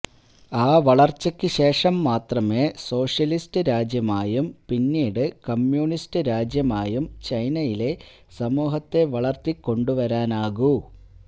ആ വളർച്ചയ്ക്കുശേഷം മാത്രമേ സോഷ്യലിസ്റ്റ് രാജ്യമായും പിന്നീട് കമ്യൂണിസ്റ്റ് രാജ്യമായും ചൈനയിലെ സമൂഹത്തെ വളർത്തിക്കൊണ്ടുവരാനാകൂ